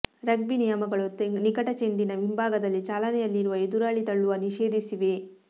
rugby ನಿಯಮಗಳು ನಿಕಟ ಚೆಂಡಿನ ಹಿಂಭಾಗದಲ್ಲಿ ಚಾಲನೆಯಲ್ಲಿರುವ ಎದುರಾಳಿ ತಳ್ಳುವ ನಿಷೇಧಿಸಿವೆ